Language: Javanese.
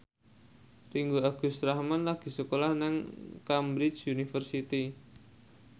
Ringgo Agus Rahman lagi sekolah nang Cambridge University